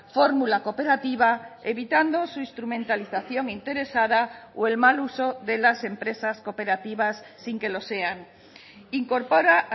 fórmula cooperativa evitando su instrumentalización interesada o el mal uso de las empresas cooperativas sin que lo sean incorpora